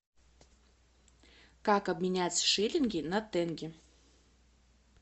как обменять шиллинги на тенге